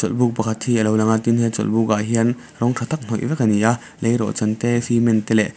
buk pakhat hi alo lang tin he chawlhbuk ah hian rawng tha tak hnawih vek ani a lei rawh chan te cement te leh--